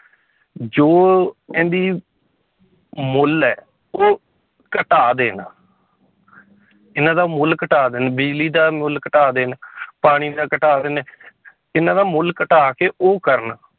ਜੋ ਇਹਦੀ ਮੁੱਲ ਹੈ ਉਹ ਘਟਾ ਦੇਣ ਇਹਨਾਂ ਦਾ ਮੁੱਲ ਘਟਾ ਦੇਣ ਬਿਜ਼ਲੀ ਦਾ ਮੁੱਲ ਘਟਾ ਦੇਣ ਪਾਣੀ ਦਾ ਘਟਾ ਦੇਣ ਇਹਨਾਂ ਦਾ ਮੁੱਲ ਘਟਾ ਕੇ ਉਹ ਕਰਨ